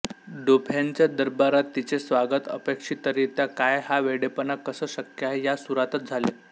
डोफॅनच्या दरबारात तिचे स्वागत अपेक्षितरीत्या काय हा वेडेपणा कसं शक्य आहे या सुरातच झाले